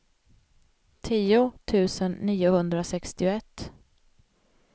tio tusen niohundrasextioett